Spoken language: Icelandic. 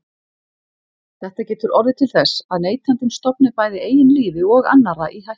Þetta getur orðið til þess að neytandinn stofni bæði eigin lífi og annarra í hættu.